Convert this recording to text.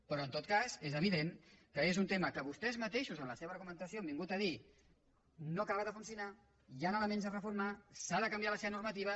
però en tot cas és evident que és un tema que vostès mateixos en la seva argumentació han vingut a dir no acaba de funcionar hi han elements a reformar s’ha de canviar la seva normativa